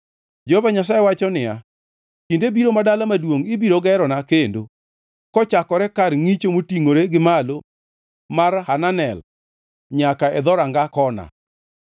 Jehova Nyasaye wacho niya, “Kinde biro, ma dala maduongʼ ibiro gerona kendo, kochakore Kar Ngʼicho Motingʼore gi Malo mar Hananel nyaka e Dhoranga Kona.